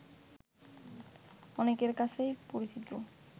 অনেকের কাছেই পরিচিত